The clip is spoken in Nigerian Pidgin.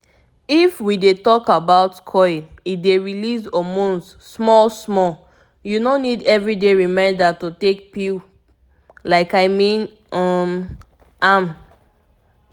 if we dey talk about coil e dey release hormones small small u no need every day reminder to take pill pause like i mean um am